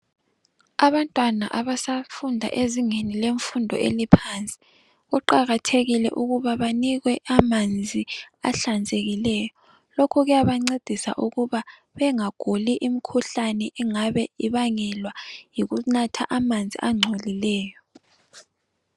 Abantwana abasafunda ezingeni lemfundu eliphansi kuqakathekile ukuba banikwe amanzi ahlanzekileyo, lokho kuyabancedisa ukuba bengaguli imikhuhlane engabe ibangelwa yikunatha amanzi angcolileyo.